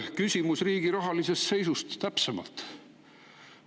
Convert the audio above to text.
Küsimus on riigi rahalise seisu kohta täpsemalt.